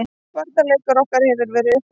Varnarleikur okkar hefur verið upp og ofan.